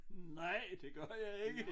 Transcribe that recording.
Nej det gør jeg ikke